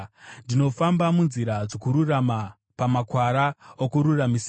Ndinofamba munzira dzokururama, pamakwara okururamisira,